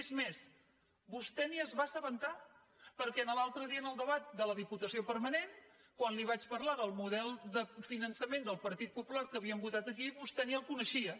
és més vostè ni se’n va assabentar perquè l’altre dia en el debat de la diputació permanent quan li vaig parlar del model de finançament del partit popular que havíem votat aquí vostè ni el coneixia